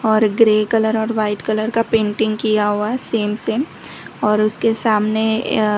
और grey colour और white colour का पेंटिंग किया हुआ है सेम सेम और उसके सामने--